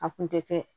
A kun tɛ kɛ